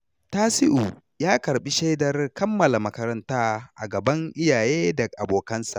Tasiu ya karɓi shaidar kammala makaranta a gaban iyaye da abokansa.